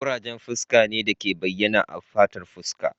ƙurajen fuska ne da ke bayyana a fatar fuska